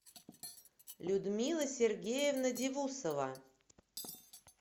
людмила сергеевна дивусова